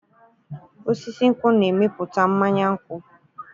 Osisi nkwụ na-emepụta mmanya nkwụ.